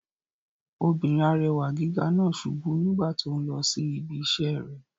Obìnrin arẹwà gíga náà subú nígbà tó n lọ sí ibi iṣẹ́ rẹ̀